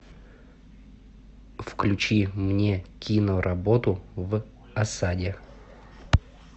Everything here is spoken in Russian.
включи мне киноработу в осаде